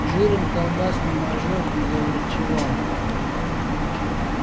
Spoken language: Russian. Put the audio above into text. жиром колбасным ожог заврачевал